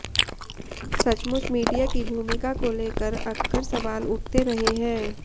सचमुच मीडिया की भूमिका को लेकर अक्कर सवाल उठते रहे हैं